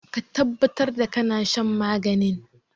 Ka tabbatar da kana shan maganin!